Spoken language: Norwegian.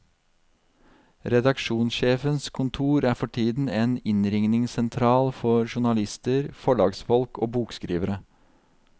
Redaksjonssjefens kontor er for tiden en innringningssentral for journalister, forlagsfolk og bokskrivere.